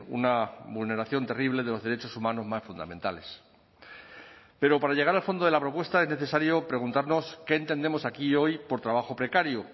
una vulneración terrible de los derechos humanos más fundamentales pero para llegar al fondo de la propuesta es necesario preguntarnos qué entendemos aquí hoy por trabajo precario